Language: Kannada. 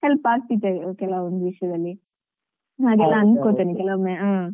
Help ಆಗ್ತಿತ್ತು ಕೆಲವೊಂದು ವಿಷ್ಯದಲ್ಲಿ ಹಾಗೆಲ್ಲ ಅನ್ಕೋತೇನೆ ಕೆಲವೊಮ್ಮೆ.